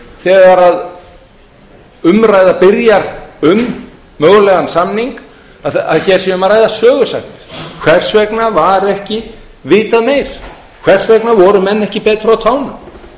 þegar umræða byrjar um mögulegan samning að hér sé um að ræða sögusagnir hvers vegna var ekki meira vitað hvers vegna voru menn ekki betur á